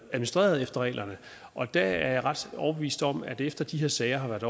administreret efter reglerne og der er jeg ret overbevist om at man efter de her sager har været